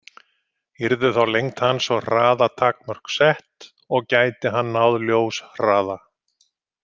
Yrðu þá lengd hans og hraða takmörk sett, og gæti hann náð ljóshraða?